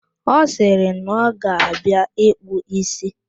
Ọ sịrị na ọ ga-abịa ịkpụ ísí